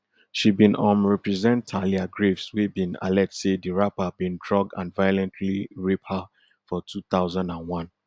she bin um represent thalia graves wey bin allege say di rapper bin drug and violently rape her for two thousand and one